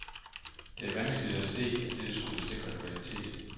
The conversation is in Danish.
Det er vanskeligt at se, at dette skulle sikre kvalitet.